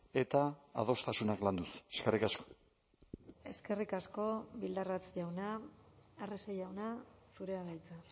eta adostasunak landuz eskerrik asko eskerrik asko bildarratz jauna arrese jauna zurea da hitza